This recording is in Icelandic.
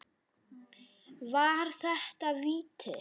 Var þetta víti?